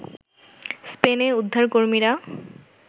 স্পেনে উদ্ধারকর্মীরা